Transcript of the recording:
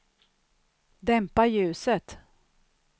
dämpa ljuset